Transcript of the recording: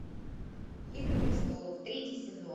игры престолов третий сезон